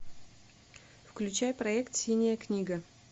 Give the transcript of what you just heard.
включай проект синяя книга